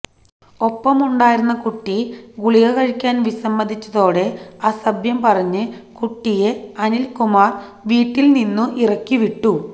ഒപ്പമുണ്ടായിരുന്ന കുട്ടി ഗുളിക കഴിക്കാന് വിസമ്മതിച്ചതോടെ അസഭ്യം പറഞ്ഞ് കുട്ടിയെ അനില്കുമാര്വീട്ടില് നിന്നും ഇറക്കിവിട്ടു